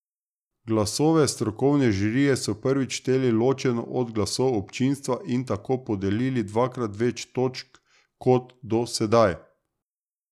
Glasove strokovne žirije so prvič šteli ločeno od glasov občinstva in tako podelili dvakrat več točk kot do sedaj.